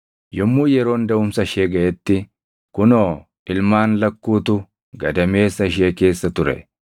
Yommuu yeroon daʼumsa ishee gaʼetti, kunoo, ilmaan lakkuutu gadameessa ishee keessa ture.